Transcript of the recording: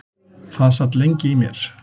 Það sat lengi í mér.